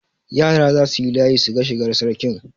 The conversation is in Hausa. Yara za su yi layi su ga shigar Sarkin.